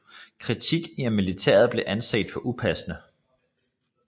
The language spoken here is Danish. Kritik af militæret blev anset for upassende